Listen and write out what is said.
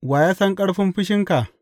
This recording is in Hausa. Wa ya san ƙarfin fushinka?